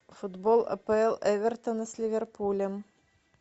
футбол апл эвертона с ливерпулем